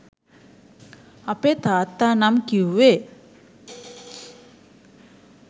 අපේ තාත්තා නම් කිවුවේ